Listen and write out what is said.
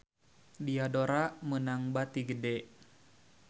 Diadora meunang bati gede